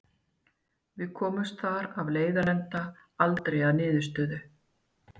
Við komumst þar af leiðandi aldrei að niðurstöðu.